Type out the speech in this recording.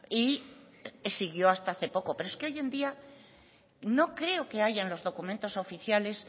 y siguió hasta hace poco pero es que hoy en día no creo que haya en los documentos oficiales